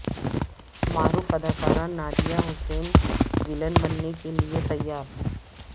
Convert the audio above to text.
معروف اداکارہ نادیہ حسین ولن بننے کے لئے تیار